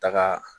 Taga